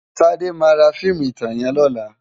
Tade má rá fiimú itán yèn lòlá